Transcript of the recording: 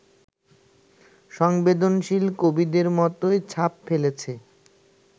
সংবেদনশীল কবিদের মতোই ছাপ ফেলেছে